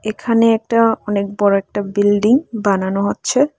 এখানে একটা অনেক বড় একটা বিল্ডিং বানানো হচ্ছে।